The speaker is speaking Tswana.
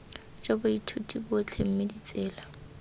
jwa baithuti botlhe mme ditsela